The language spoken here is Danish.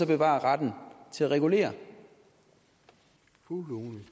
bevare retten til at regulere når